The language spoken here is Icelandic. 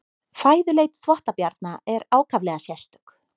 Fæðuleit þvottabjarna er ákaflega sérstök.